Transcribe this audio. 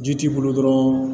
Ji t'i bolo dɔrɔn